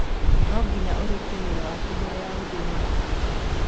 no nginya ũrĩkie wĩra waku mbere ya gũthie gũthaka.